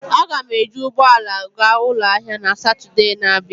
Aga m eji ụgbọ ala gaa ụlọ ahịa na Satọde na-abịa.